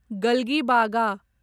गल्गीबागा